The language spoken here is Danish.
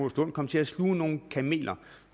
at man kom til at sluge nogle kameler